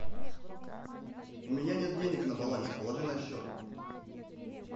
у меня нет денег на балансе положи на счет